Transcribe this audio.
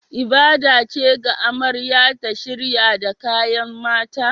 Ibada ce ga amarya ta shirya da kayan mata